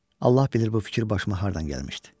Allah bilir bu fikir başıma hardan gəlmişdi.